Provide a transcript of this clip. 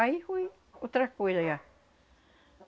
Aí foi outra coisa já.